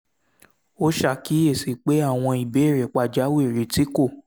ó ṣàkíyèsí pé àwọn ìbéèrè pàjáwìrì tí kò